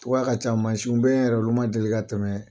ka ca mansiw beyi olu yɛrɛ ma deli ka tɛmɛn